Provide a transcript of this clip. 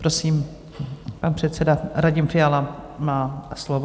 Prosím, pan předseda Radim Fiala má slovo.